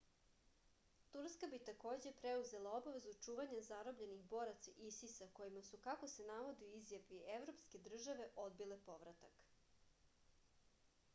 turska bi takođe preuzela obavezu čuvanja zarobljenih boraca isis-a kojima su kako se navodi u izjavi evropske države odbile povratak